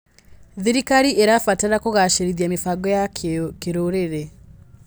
Thirikari ĩrabatara kũgacĩrithia mĩbango ya kĩrũrĩrĩ.